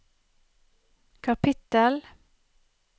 kapittel